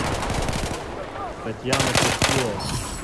татьяна перфилова